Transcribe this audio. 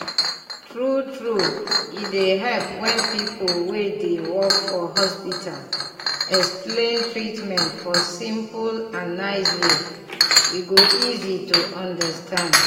true true e dey help when pipu wey dey work for hospital explain treatment for simple and nice way e go easy to understand.